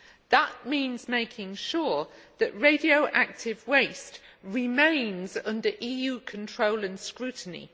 That means making sure that radioactive waste remains under EU control and scrutiny.